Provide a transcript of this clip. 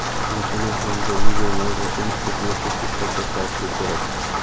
sinfini hamda video mavzusini ketma-ketlikda ko‘rsatishi kerak.